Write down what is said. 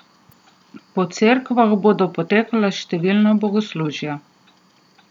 Po cerkvah bodo potekala številna bogoslužja.